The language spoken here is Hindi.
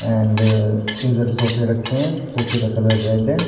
एंड इधर सोफे रखें हैं सोफे का कलर रेड है।